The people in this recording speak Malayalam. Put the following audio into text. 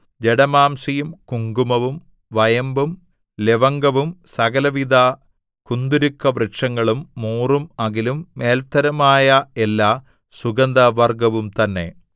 ജടാമാംസിയും കുങ്കുമവും വയമ്പും ലവംഗവും സകലവിധ കുന്തുരുക്കവൃക്ഷങ്ങളും മൂറും അകിലും മേൽത്തരമായ എല്ലാ സുഗന്ധവർഗ്ഗവും തന്നെ